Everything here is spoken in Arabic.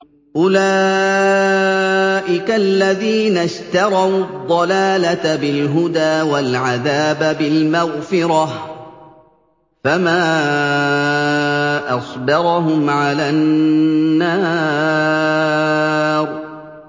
أُولَٰئِكَ الَّذِينَ اشْتَرَوُا الضَّلَالَةَ بِالْهُدَىٰ وَالْعَذَابَ بِالْمَغْفِرَةِ ۚ فَمَا أَصْبَرَهُمْ عَلَى النَّارِ